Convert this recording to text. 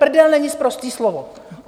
Prdel není sprosté slovo.